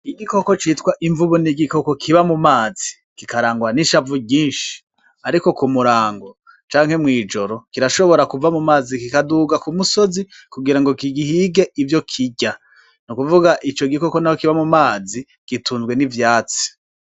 Igikoko citwa imvubu ni igikoko kiba mu mazi kikarangwa nishavu ryinshi ariko kumurango canke mu ijoro kirashobora kuva mumazi kikaduga kumusozi kugirango ki gihige ivyo kirya nukuvuga naho ico gikoko kiba mumazi gitunzwe nivyatsi.